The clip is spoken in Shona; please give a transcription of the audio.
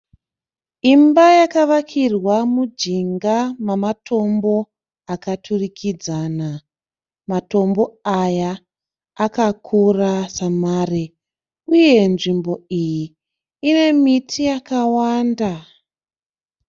Imba yakavakirwa mujinga mamatombo akaturikidzana. Matombo aya akakura samare. Uye nzvimbo iyi ine miti yakawanda.